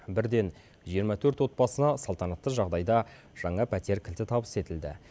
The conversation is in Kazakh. бірден жиырма төрт отбасына салтанатты жағдайда жаңа пәтер кілті табыс етілді